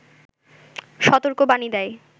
সতর্কবাণী দেয়